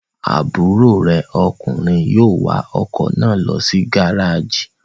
Àbúrò rè ọkùnrin yóò wa ọkọ̀ náà lọ sí gárájì.